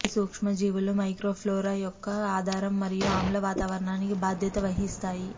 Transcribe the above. ఈ సూక్ష్మజీవులు మైక్రోఫ్లోరా యొక్క ఆధారం మరియు ఆమ్ల వాతావరణానికి బాధ్యత వహిస్తాయి